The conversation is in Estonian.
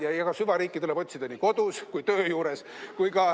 Ja eks süvariiki tuleb otsida nii kodus kui ka töö juures.